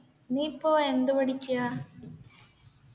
നീപ്പോ എന്ത് പഠിക്ക്യാ